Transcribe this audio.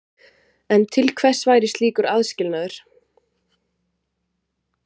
En til hvers væri slíkur aðskilnaður?